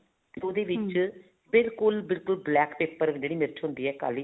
ਉਹਦੇ ਵਿੱਚ ਬਿਲਕੁਲ ਬਿਲਕੁਲ black paper ਜਿਹੜੀ ਮਿਰਚ ਹੁੰਦੀ ਹੈ ਕਾਲੀ